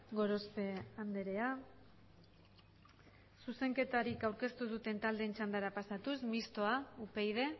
gorospe andrea zuzenketarik aurkeztu duten taldeen txandara pasatuz mistoa upyd